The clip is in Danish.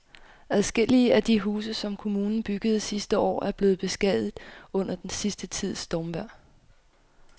Adskillige af de huse, som kommunen byggede sidste år, er blevet beskadiget under den sidste tids stormvejr.